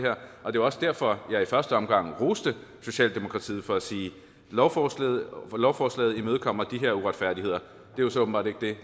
er jo også derfor jeg i første omgang roste socialdemokratiet for at sige lovforslaget lovforslaget imødegår de her uretfærdigheder det er så åbenbart ikke det